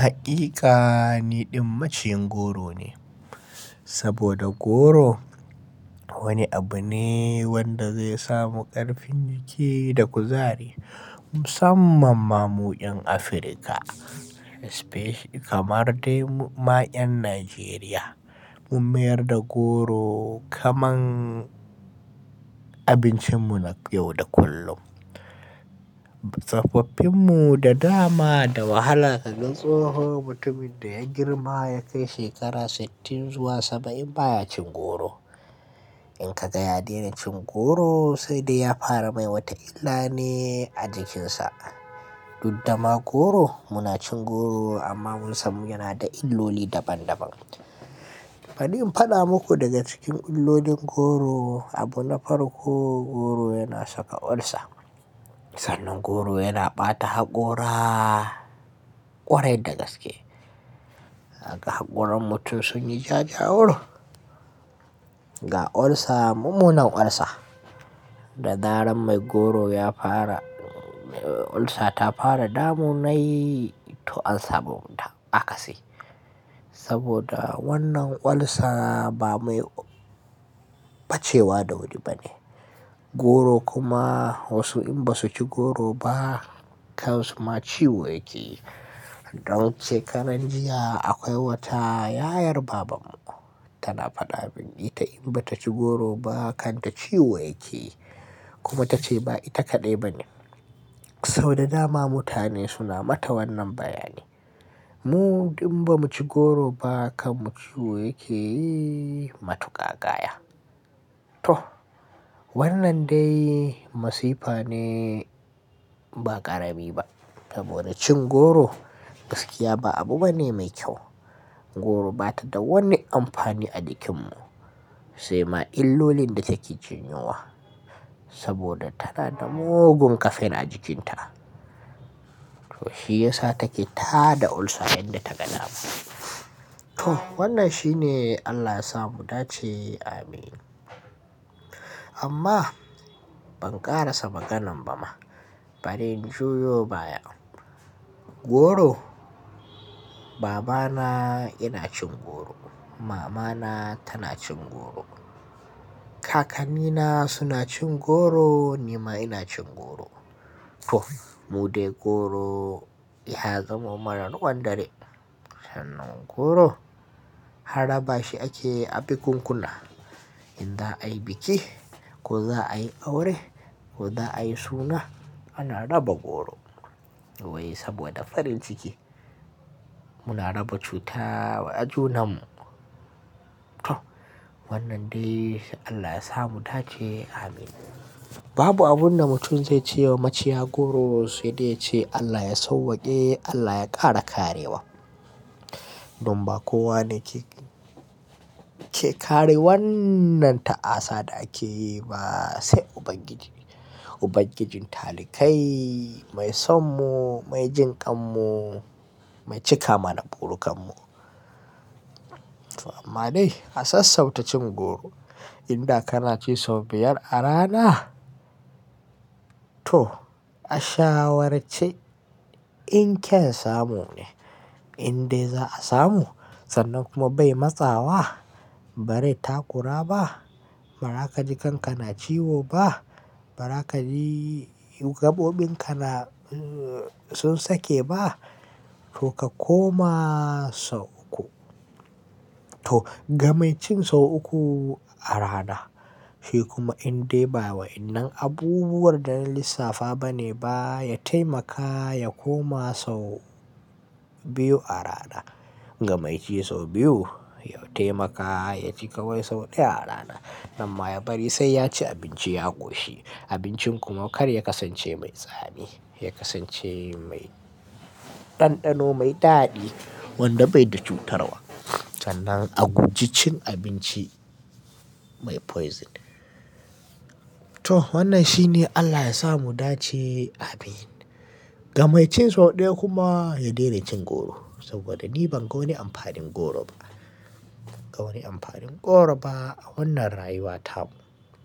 Hakika niɗin maciyin goro ne. Saboda goro wani abu ne wanda zai samu ƙarfin jiki da kuzari. Musamman ma mu 'yan Afirka kamar dai ma 'yan Najeriya mun mayar da goro kamar abincin mu na yau da kullum. Tsofaffin mu da dama da wahala ka ga tsoho mutumin da ya girma ya kai shekara sittin zuwa saba'in baya cin goro. In ka ga ya daina cin goro sai dai ya fara mai wata illa ne a jikinsa. Dudda ma goro muna cin goro amma mun samu yana da illoli daban daban. Bari in faɗa maku daga cikin illolin goro abu na farko goro yana saka ulcer. Sannan goro yana ɓata haƙora ƙwarai da gaske. Haka haƙoran mutum sun yi ja ja wur. Ga ulcer mummunan ulcer da zaren mai goro ya fara ulcer ta fara damu nayi to ansamu akasi. Saboda wannan ulcer ba mai bacewa da wuri ba ne. Goro kuma wasu in ba su ci goro ba kan su ma ciwo yake. Don ce ƙaran jiya akwai wata yayar baban mu tana faɗa abin ita in ba ta ci goro ba kan ta ciwo yake kuma ta ce ba ita kaɗai ba ne. Sau da dama mutane suna mata wannan bayani. Mu in ba mu ci goro ba kan mu ciwo yake matuƙa gaya. Toh wannan dai masifa ne ba ƙarami ba. Saboda cin goro gaskiya ba abu bane mai kyau. Goro bata da wani amfani a jikin mu sai ma illolin da take janyowa saboda tana da mugun ƙafe na jikinta. To shiyasa take ta da ulcer yadda ta ga dama. Toh wannan shi ne Allah ya sa mu dace amin. Amma ban ƙara sa maganan ba ma bari in juyo baya. Goro babana yana cin goro, mamana tana cin goro, kakanni na suna cin goro ni ma ina cin goro. Toh mu dai goro ya zamo mana ruwan dare. Sannan goro harraba shi ake a bikunkuna. In za a yi biki ko za a yi aure ko za a yi suna ana raba goro. Wai saboda farin ciki muna raba cuta wa junan mu. Toh wannan dai Allah ya sa mu dace amin. Babu abun da mutum zai ce wa maciya goro sai dai ya ce Allah ya sauwake Allah ya ƙara karewa. Don ba kowa ne ke, ke kare wannan ta'asa da ake yi ba sai Ubangiji. Ubangijin talikai mai son mu, mai jinƙan mu, mai cika mana burukan mu. To amma dai a sassauta cin goro. In da kana ci sau biyar a rana to a shawarce in kyan samu ne. In dai za a samu sannan kuma bai matsawa bari ta ƙura ba. Bara ka jikanka na ciwo ba, bara ka ji gabobin ka na sun sake ba to ka koma sau uku. Toh ga mai cin sau uku a rana shi kuma in dai ba wainnan abubuwar da na lissafa bane ba ya taimaka ya koma sau biyu a rana. Ga mai ci sau biyu ya taimaka ya ci kawai sau ɗaya a rana. Nan ma ya bari sai ya ci abinci ya ƙoshi. Abincin kuma kar ya kasance mai tsami, ya kasance mai ɗanɗano mai daɗi wanda bai da cutarwa. Sannan a guji cin abinci mai poison. Toh wannan shi ne Allah ya sa mu dace amin. Ga mai cin sau ɗaya kuma ya daina cin goro saboda ni ban ga wani amfanin goro ba. Ban ga wani amfanin goro ba a wannan rayuwa tamo.